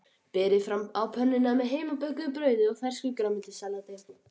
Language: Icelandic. Berið fram á pönnunni með heimabökuðu brauði og fersku grænmetissalati.